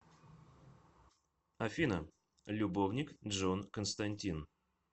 афина любовник джон константин